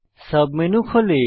submenu খোলে